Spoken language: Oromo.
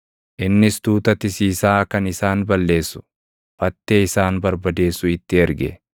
Innis tuuta tisiisaa kan isaan balleessu, fattee isaan barbadeessu itti erge.